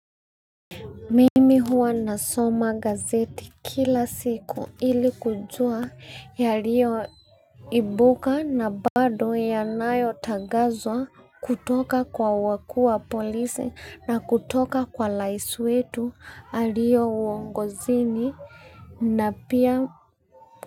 Mimi huwa nasoma gazeti kila siku ili kujua yalio ibuka na bado yanayotangazwa kutoka kwa wakuu wa polisi na kutoka kwa rais wetu aliye uongozini na pia.